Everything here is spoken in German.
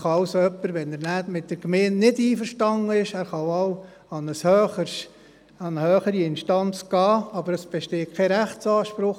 Wenn jemand dann mit der Gemeinde nicht einverstanden ist, kann er wohl an eine höhere Instanz gelangen, aber es besteht kein Rechtsanspruch.